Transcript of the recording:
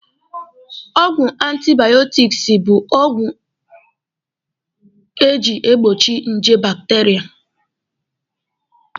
Ọgwụ antibaọtiksi bụ agwọ eji egbochi nje bakiteria.